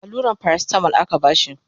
alluran paracetamol aka bashi